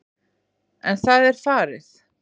En það er farið.